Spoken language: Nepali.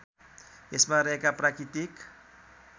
यसमा रहेका प्राकृतिक